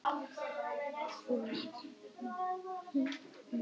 Er sá leikur enn mikilvægari núna?